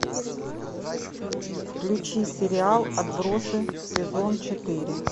включи сериал отбросы сезон четыре